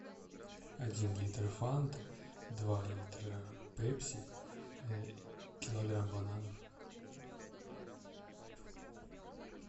один литр фанты два литра пепси килограмм бананов